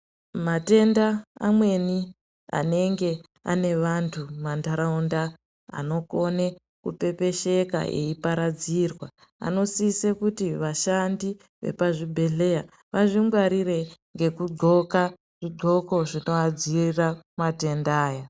Matenda amweni anenge ane vantu mumantaraunda anokone kupepesheka eiparadzirwa anosise kuti vashandi vepazvibhedhleya vazvingwarire ngekudxoka zvidxoko zvinoadziirira matenda aya.